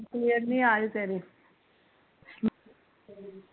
ਕਲੇਰ ਨੀ ਆ ਰਹੀ ਤੇਰੀ